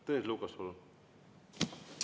Tõnis Lukas, palun!